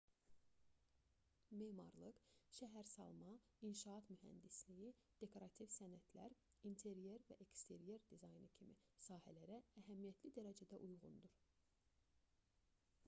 memarlıq şəhərsalma inşaat mühəndisliyi dekorativ sənətlər interyer və eksteryer dizaynı kimi sahələrə əhəmiyyətli dərəcədə uyğundur